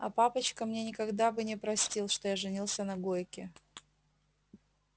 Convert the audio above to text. а папочка мне никогда бы не простил что я женился на гойке